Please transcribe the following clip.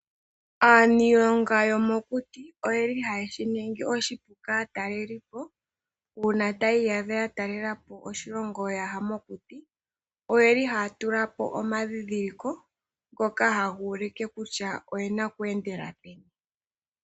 Aanilonga yomokuti oyeli haye shiningi oshipu kaatalelipo uuna taya iyadha yatalelapo oshilongo ya ya mokuti oyeli haya tulapo omandhidhiliko ngoka haga ulike kutya oyena okweendela peni.